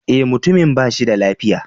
Eh, mutumin ba shi da lafiya.